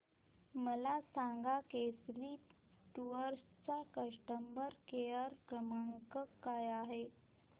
मला सांगा केसरी टूअर्स चा कस्टमर केअर क्रमांक काय आहे